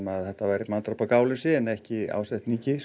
að þetta væri manndráp af gáleysi en ekki ásetningi